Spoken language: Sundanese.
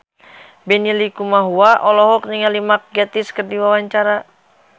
Benny Likumahua olohok ningali Mark Gatiss keur diwawancara